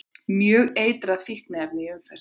Mjög eitrað fíkniefni í umferð